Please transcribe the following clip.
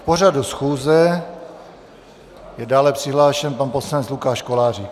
K pořadu schůze je dále přihlášen pan poslanec Lukáš Kolářík.